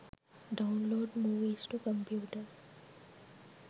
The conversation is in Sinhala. download movies to computer